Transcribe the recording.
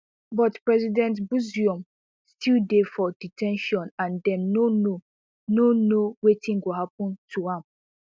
but president bazoum still dey for de ten tion and dem no know no know wetin go happun to am